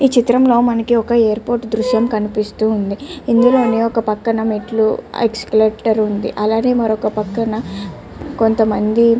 ఈ చిత్రం లో మనకి ఒక ఎయిర్ పోర్ట్ దృశ్యం కనిపిస్తూఉంది ఇందులోనే ఒక పక్కన మెట్లు ఏక్సిలేటర్ ఉంది అలాగే మరొక పక్కన మనకు కొంత మంది --